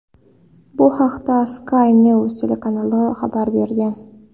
Bu haqda Sky News telekanali xabar bergan .